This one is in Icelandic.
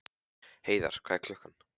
Heiðar, hvað er klukkan?